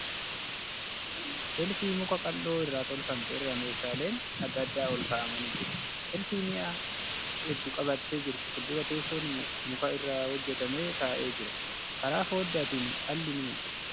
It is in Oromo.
Sheelfii muka qalloo irraa tolfamte irra meeshaaleen adda addaa ol kaa'amanii jiru . Sheelfii mi'a hedduu qabattee jirtu fuuldura teessoon muka irraa hojjatame taa'ee jira . Karaa fooddatiin alli ni mul'ata.